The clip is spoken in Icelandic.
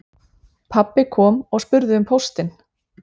Pabbi kom og spurði um póstinn